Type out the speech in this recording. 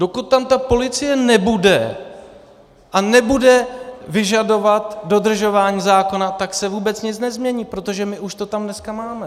Dokud tam ta policie nebude a nebude vyžadovat dodržování zákona, tak se vůbec nic nezmění, protože my už to tam dneska máme.